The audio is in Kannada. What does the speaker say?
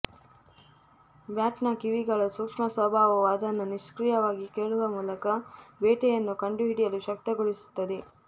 ಬ್ಯಾಟ್ನ ಕಿವಿಗಳ ಸೂಕ್ಷ್ಮ ಸ್ವಭಾವವು ಅದನ್ನು ನಿಷ್ಕ್ರಿಯವಾಗಿ ಕೇಳುವ ಮೂಲಕ ಬೇಟೆಯನ್ನು ಕಂಡುಹಿಡಿಯಲು ಶಕ್ತಗೊಳಿಸುತ್ತದೆ